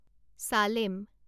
Salem